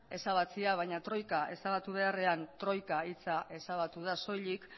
ezabatzea baina troika ezabatu beharrean troika hitza ezabatu da soilik